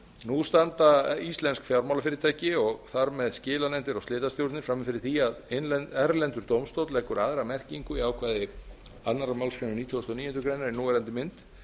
nú standa íslensk fjármálafyrirtæki og þar með skilanefndir og slitastjórnir frammi fyrir því að erlendur dómstóll leggur aðra merkingu í ákvæði annarrar málsgreinar nítugasta og níundu grein í núverandi mynd